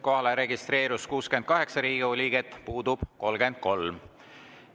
Kohalolijaks registreerus 68 Riigikogu liiget, puudub 33.